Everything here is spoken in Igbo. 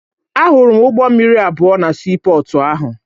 Ahụrụ m ụgbọ mmiri abụọ na siipọọtụ ahụ